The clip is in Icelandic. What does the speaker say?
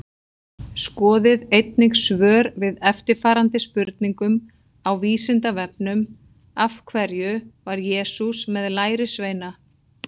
Skoðið einnig svör við eftirfarandi spurningum á Vísindavefnum Af hverju var Jesús með lærisveina?